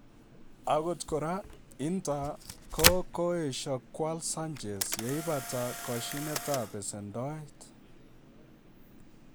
Agot kora, Inter ko koesio kwal Sanchez yeipata koshinetab besendoet.